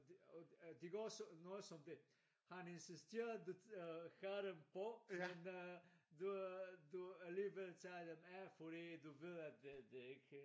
Det øh det går som noget som det han insisterede øh have dem på men øh du øh du alligevel tager dem af fordi du ved detøh det ikke